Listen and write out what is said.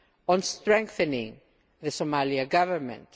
on strengthening the Somalian Government.